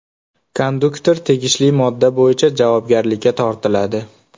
Konduktor tegishli modda bo‘yicha javobgarlikka tortiladi.